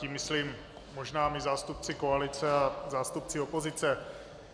Tím myslím možná my zástupci koalice a zástupci opozice.